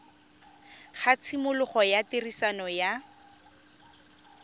ga tshimologo ya tiriso ya